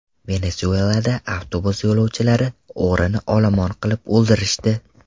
Venesuelada avtobus yo‘lovchilari o‘g‘rini olomon qilib o‘ldirishdi.